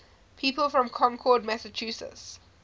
people from concord massachusetts